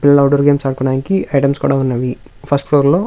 పిల్లలు outdoor games ఆడుకోవడానికి items కూడా ఉన్నవి ఫస్ట్ ఫ్లోర్ లో --